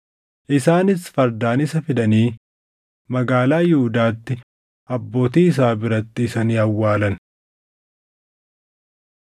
Isaanis fardaan isa fidanii Magaalaa Yihuudaatti abbootii isaa biratti isa ni awwaalan.